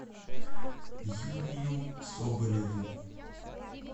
юрию соболеву